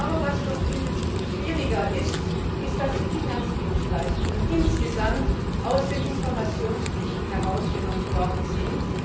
Aber was noch viel schwieriger ist, ist, dass die Finanzdienstleistungen insgesamt aus den Informationspflichten herausgenommen worden sind.